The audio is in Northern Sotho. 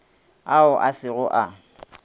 ao a se go a